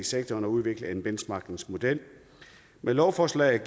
sektoren og udvikle en benchmarkingmodel med lovforslaget